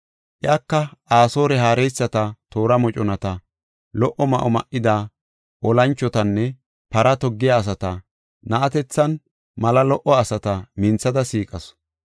Iyaka Asoore haareysati, toora moconata, lo77o ma7o ma7ida olanchotanne para toggiya asata, na7atethinne mala lo77o asata minthada siiqasu.